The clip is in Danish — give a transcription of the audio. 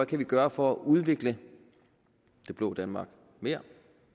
kan gøre for at udvikle det blå danmark mere